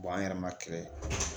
an yɛrɛ ma